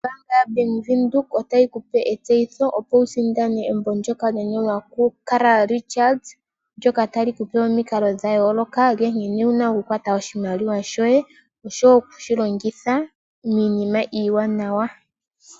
Ombanga ya Bank Windhoek otayi kupe etseyitho opo wu sindane embo ndyoka lya nyolwa ku Carl Richards, ndyoka tali kupe omikalo dha yooloka, nkene wuna oku kwata oshimaliwa shoye osho wo okushi longitha miinima iiwanawa.